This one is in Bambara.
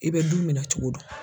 I bɛ du minɛn cogo dɔn.